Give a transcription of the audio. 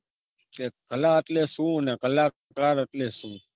કે કલા એટલે શું ને કલાકાર એટલે શું?